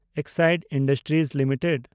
Exide industries limited